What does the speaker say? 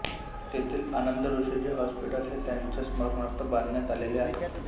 तेथील आनंदऋषीजी हॉस्पिट्ल हे त्यांच्या स्मरणार्थ बांधण्यात आलेले आहे